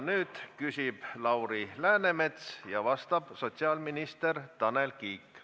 Nüüd küsib Lauri Läänemets ja vastab sotsiaalminister Tanel Kiik.